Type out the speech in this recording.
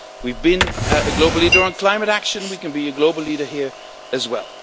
We have been a global leader on climate action and we can be a global leader here as well.